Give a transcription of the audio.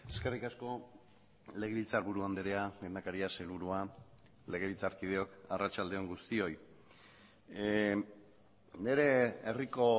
eskerrik asko legebiltzarburu andrea lehendakaria sailburua legebiltzarkideok arratsalde on guztioi nire herriko